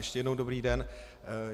Ještě jednou dobrý den.